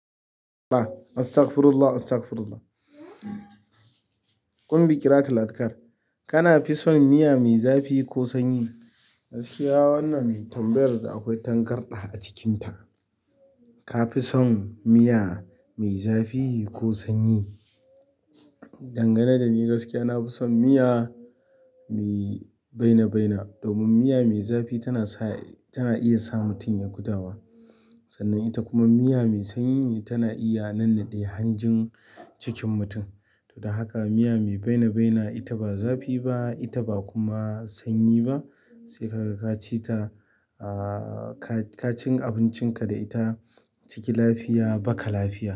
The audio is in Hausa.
La. Astagfurullah, astagfurullah. Kunbi Kirat Latkar, "Kana fison miya mai zafi ko sanyi?" Gaskiya wannan mai tambayar da akwai tangarɗa a cikinta. "Kafi son miya mai zafi ko sanyi?" Dangane dani gaskiya nafi son miya mai baina-baina. Domin miya mai zafi tana sa-- tana iya sa mutum ya gudawa. Sannan ita kuma miya mai sanyi tana iya nannaɗe hanjin cikin mutum. To, dan haka miya mai baina-baina ita ba zafi ba, ita ba kuma sanyi ba. Sai kaga ka cita, ah, ka, ka cin abincinka da ita, ciki lafiya baka lafiya.